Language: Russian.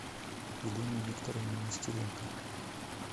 елене викторовне нестеренко